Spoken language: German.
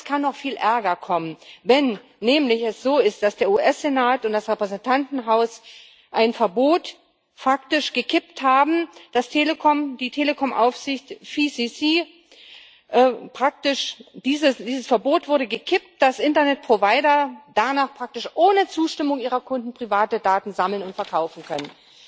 Und es kann noch viel ärger kommen, wenn es nämlich so ist, dass der US Senat und das Repräsentantenhaus ein Verbot faktisch gekippt haben, dass das Verbot der Telekomaufsicht FCC praktisch gekippt wurde, sodass Internetprovider danach praktisch ohne Zustimmung ihrer Kunden private Daten sammeln und verkaufen können.